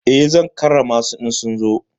Eh, zan karrama su idan sun zo.